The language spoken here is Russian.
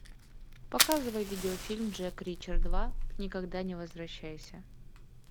показывай видеофильм джек ричер два никогда не возвращайся